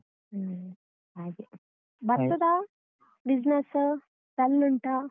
ಹ್ಮ್ ಹಾಗೆ ಬರ್ತದಾ business dull ಉಂಟಾ?